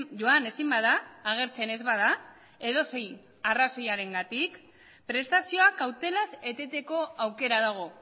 joan ezin bada agertzen ez bada edozein arrazoirengatik prestazioak kautelaz eteteko aukera dago